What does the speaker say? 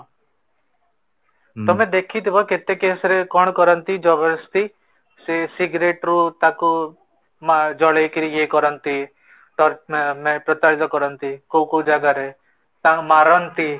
ତମେ ଦେଖିଥିବ କେତେ case ରେ କଣ କରନ୍ତି ସେ cigarette ରୁ ତାକୁ ଜାଲେଇକି ୟେ କରନ୍ତି ମାନେ ପ୍ରତାରିତ କରନ୍ତି କୋଉ କୋଉ ଜାଗାରେ ତାଙ୍କୁ ମାରନ୍ତି